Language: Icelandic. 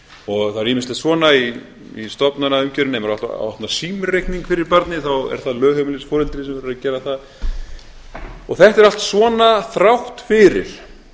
og það er ýmislegt svona í stofnanaumgjörðinni ef á að opna símreikning fyrir barnið þá er það lögheimilisforeldrið sem verður að gera það þetta er allt svona þrátt fyrir